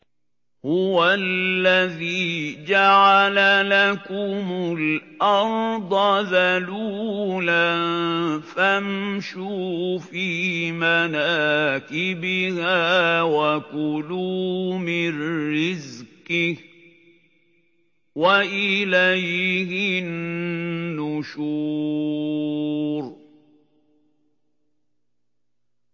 هُوَ الَّذِي جَعَلَ لَكُمُ الْأَرْضَ ذَلُولًا فَامْشُوا فِي مَنَاكِبِهَا وَكُلُوا مِن رِّزْقِهِ ۖ وَإِلَيْهِ النُّشُورُ